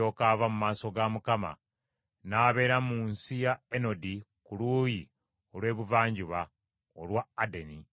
Kayini n’alyoka ava mu maaso ga Mukama , n’abeera mu nsi ya Enodi ku luuyi olw’ebuvanjuba olwa Adeni.